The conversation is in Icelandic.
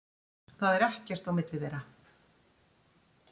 Það er ekkert á milli þeirra.